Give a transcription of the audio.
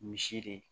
Misiri